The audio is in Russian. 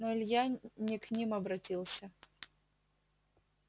но илья не к ним обратился